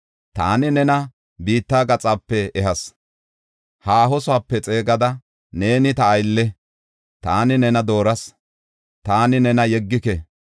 taani nena biitta gaxape ehas; haahosoope xeegada, ‘Neeni ta aylle’ taani nena dooras; taani nena yeggike.